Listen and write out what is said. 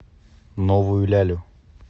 новую лялю